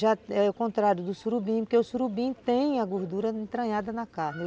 Já é o contrário do surubim, porque o surubim tem a gordura entranhada na carne.